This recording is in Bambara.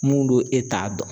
Mun don e t'a dɔn.